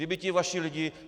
Kdyby ti vaši lidi...